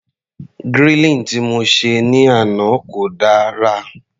Grilling tí mo se ní àná kò dára.